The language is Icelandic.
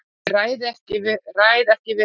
Ég ræð ekki við mig.